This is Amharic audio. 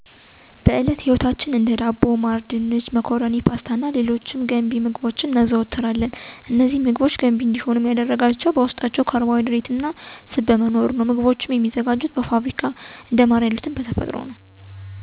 በእለት ተእለት ህይወታች ዉስጥ የምናዘወትራቸው ምግቦች መካከል ዋና ዋናዎቹ፦ እንደ ዳቦ፣ ማር፣ ድንች፣ መኮረኒ፣ ፓስታ፣ ስኳር እና የመሳሰሉት ሲሆኑ፤ እነዚህን ምግቦች ገንቢ እንዲሆንም ያደረጋቸው በዉስጣቸው የሚገኘው ንጥረነገር ማለትም እንደ ካርቦሀይድሬት እና ስብ እይነቶች ናቸዉ። ምግቦችም የሚዘጋጁትም እንደ ስኳር አና ፓስታ ያሉት በፋብሪካ ውስጥ ሲሆኑ እንደ ማር የሉት ደግሞ በተፈጥሮ ይገኛሉ። ከእነዚህም ምግቦች ጋር የተለያዩ ትዉስታወች አሉኝ።